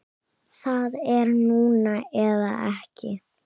Það er núna eða ekki.